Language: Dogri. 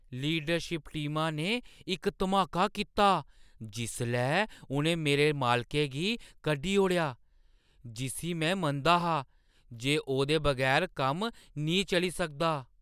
लीडरशिप टीमा ने इक धमाका कीता जिसलै उʼनें मेरे मालकै गी कड्ढी ओड़ेआ जिस्सी में मनदा हा जे ओह्‌दे बगैर कम्म निं चली सकदा ।